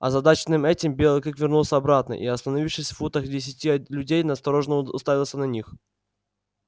озадаченный этим белый клык вернулся обратно и остановившись футах в десяти от людей настороженно уставился на них